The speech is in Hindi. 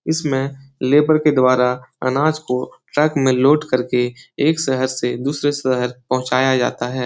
इसमें लेबर के द्वारा अनाज को ट्रक में लोड करके एक शहर से दूसरे शहर पहुँचाया जाता है।